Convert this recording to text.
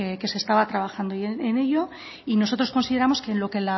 que se estaba trabajando en ello y nosotros consideramos que en lo que